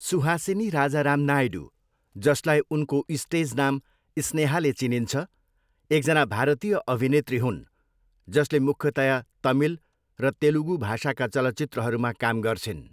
सुहासिनी राजाराम नायडू, जसलाई उनको स्टेज नाम स्नेहाले चिनिन्छ, एकजना भारतीय अभिनेत्री हुन् जसले मुख्यतया तमिल र तेलुगू भाषाका चलचित्रहरूमा काम गर्छिन्।